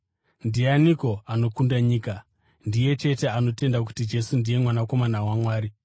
Ndianiko anokunda nyika? Ndiye chete anotenda kuti Jesu ndiye Mwanakomana waMwari.